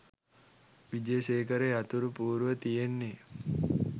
විජේසේකර යතුරු පුවරුව තියෙන්නෙ